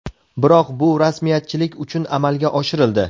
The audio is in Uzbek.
Biroq bu rasmiyatchilik uchun amalga oshirildi.